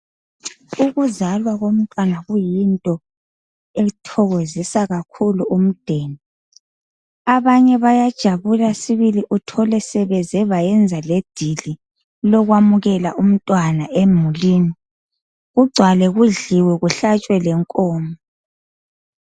Ukuzalwa komntwana kuyinto ethokozisa kakhulu imuli abanye bayathokoza sibili uthole sebeze bayenza ledili lokwamukela umntwana emulini kugcwale kudliwe kuhlatshwe lenkomo.